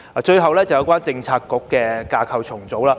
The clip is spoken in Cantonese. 最後是有關政策局的架構重組。